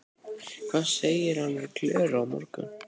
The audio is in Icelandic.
Hvað segir hann við Klöru á morgun?